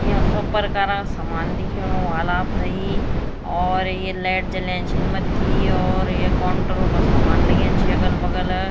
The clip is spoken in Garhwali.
याँ सब प्रकार क सामान दिखेणु ह्वाल आप्थेइ और ये लाइट जलयां छिन मत्थी और ये कोंटरो का सामान लग्यां छि अगल बगल।